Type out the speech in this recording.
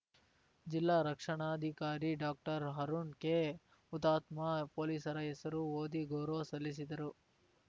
ಜಿಲ್ಲಾ ರಕ್ಷಣಾಧಿಕಾರಿ ಡಾಕ್ಟರ್ಅರುಣ್‌ ಕೆಹುತಾತ್ಮ ಪೊಲೀಸರ ಹೆಸರು ಓದಿ ಗೌರವ ಸಲ್ಲಿಸಿದರು